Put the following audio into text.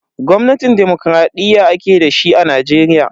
Gwamnatin dimokuraɗiyya ake dashi a Najeriya.